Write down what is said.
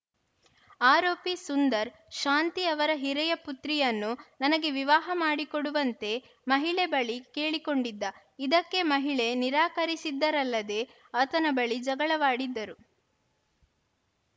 ಆರೋಪಿ ಸುಂದರ್‌ ಶಾಂತಿ ಅವರ ಹಿರಿಯ ಪುತ್ರಿಯನ್ನು ನನಗೆ ವಿವಾಹ ಮಾಡಿಕೊಡುವಂತೆ ಮಹಿಳೆ ಬಳಿ ಕೇಳಿ ಕೊಂಡಿದ್ದ ಇದಕ್ಕೆ ಮಹಿಳೆ ನಿರಾಕರಿಸಿದ್ದರಲ್ಲದೆ ಆತನ ಬಳಿ ಜಗಳವಾಡಿದ್ದರು